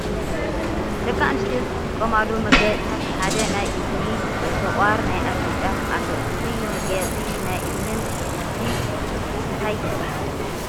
ደቂ ኣንስትዮ ዝጥቀማሉ መጋየፂታት ሓደ ናይ እዝኒ፣ ሰቂር፣ ናይ ኣፍንጫን ኣሎ ። እዚ መጋየፂ ናይ እዝኒን እዚ እንታይ ይበሃል ?